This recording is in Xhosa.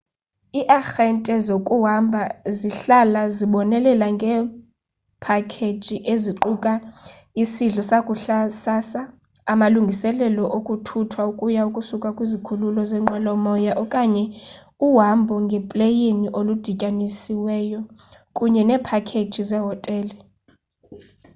iiarhente zokuhamba zihlala zibonelela ngeephakeji eziquka isidlo sakusasa amalungiselelo okuthuthwa ukuya / ukusuka kwisikhululo seenqwelo-moya okanye uhambo ngepleyini oludityanisiweyo kunye neephakheji zehotele